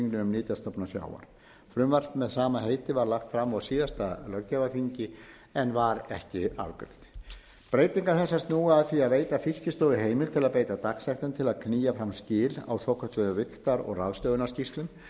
nytjastofna sjávar frumvarp með sama heiti var lagt fram á síðasta löggjafarþingi en var ekki afgreitt breytingar þessar snúa að því að veita fiskistofu heimild til að beita dagsektum til að knýja fram skil á svokölluðu vigtar og ráðstöfunarskýrslum